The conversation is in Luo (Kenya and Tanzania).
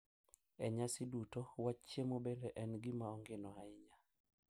E nyasi duto wach chiemo bende en gima ongino ahinya.